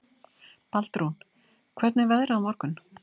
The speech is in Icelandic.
Baldrún, hvernig er veðrið á morgun?